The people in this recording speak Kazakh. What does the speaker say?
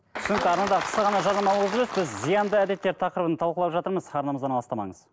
түсінікті арнада қысқа ғана жарнамалық үзіліс біз зиянды әдеттер тақырыбын талқылап жатырмыз арнамыздан алыстамаңыз